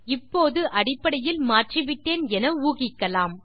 இப்போது அடிப்படையில் மாற்றிவிட்டேன் என ஊகிக்கலாம்